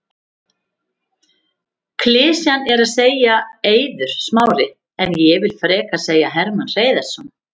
Klisjan er að segja Eiður Smári en ég vill frekar segja Hermann Hreiðarsson.